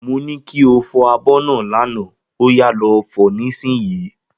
Mo ní kí o fo abó náà l'ana, óyá lo fo nísìsiyìí